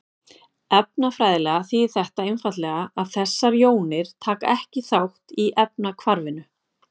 Efnafræðilega þýðir þetta einfaldlega að þessar jónir taka ekki þátt í efnahvarfinu.